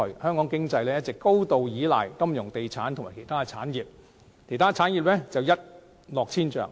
香港經濟一直高度依賴金融地產及相關產業，其他產業卻一落千丈。